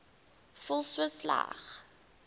voel so sleg